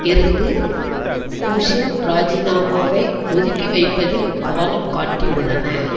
இருந்து கோசின் ராஜிநாமாவை ஒதுக்கி வைப்பதில் கவனம் காட்டியுள்ளன